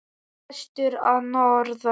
Prestur að norðan!